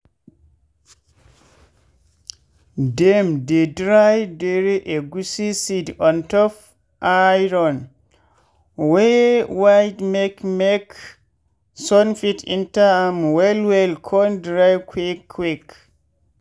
dem dey dry dere egusi seed ontop iron wey wide make make sun fit enter am well well con dry quick quick.